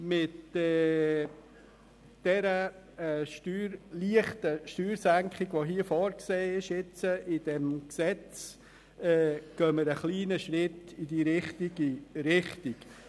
Mit der leichten Steuersenkung, die in diesem Gesetz vorgesehen ist, gehen wir einen kleinen Schritt in die richtige Richtung.